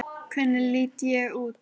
Hvernig ég lít út!